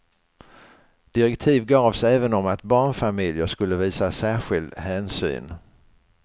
Direktiv gavs även om att barnfamiljer skulle visas särskild hänsyn.